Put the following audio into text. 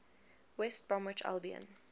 west bromwich albion